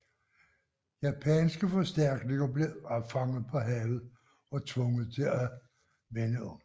Japanske forstærkninger blev opfanget på havet og tvunget til at vende om